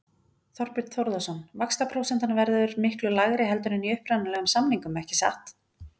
Þorbjörn Þórðarson: Vaxtaprósentan verður miklu lægri heldur en í upprunalegum samningum ekki satt?